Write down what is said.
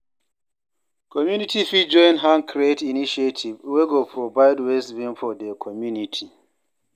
Community fit join hand create initiative wey go provide waste bin for their community